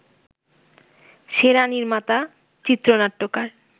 সেরা নির্মাতা, চিত্রনাট্যকার